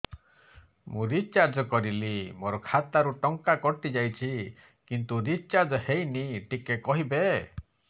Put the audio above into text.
ମୁ ରିଚାର୍ଜ କରିଲି ମୋର ଖାତା ରୁ ଟଙ୍କା କଟି ଯାଇଛି କିନ୍ତୁ ରିଚାର୍ଜ ହେଇନି ଟିକେ କହିବେ